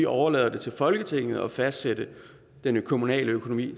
overlader det til folketinget at fastsætte den kommunale økonomi